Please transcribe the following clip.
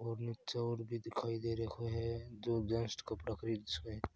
और निच्चे और भी दिखाई दे रखो है जो जेंट्स कपड़ा खरीद सके है।